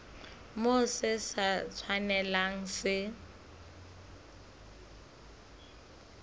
moo se sa tshwanelang se